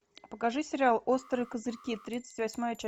покажи сериал острые козырьки тридцать восьмая часть